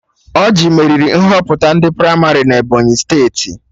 Ọrjị meriri Nhọpụta ndị pramarị na Ebọnyị steeti